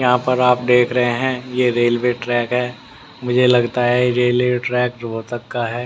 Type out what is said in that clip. यहां पर आप देख रहे हैं ये रेलवे ट्रैक है मुझे लगता है ये रेलवे ट्रैक रोहतक का है।